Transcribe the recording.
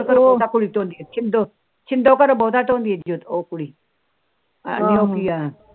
ਉਹ ਸਿੰਦੋ ਉਹ ਕੁੜੀ